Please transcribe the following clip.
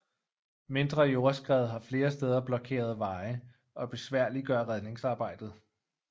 Mindre jordskred har flere steder blokkeret veje og besværliggør redningsarbejdet